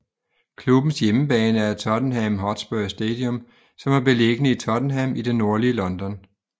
Klubbens hjemmebane er Tottenham Hotspur Stadium som er beliggende i Tottenham i det nordlige London